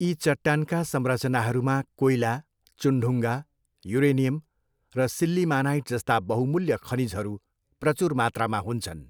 यी चट्टानका संरचनाहरूमा कोइला, चुनढुङ्गा, युरेनियम र सिल्लिमानाइट जस्ता बहुमूल्य खनिजहरू प्रचुर मात्रामा हुन्छन्।